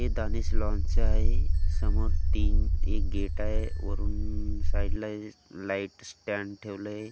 हे आहे समोर तीन एक गेट आहे वरून साइड ला लाइट स्टड ठेवल आहे अन--